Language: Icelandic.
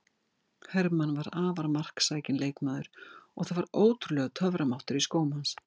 Hermann var afar marksækinn leikmaður og það var ótrúlegur töframáttur í skóm hans.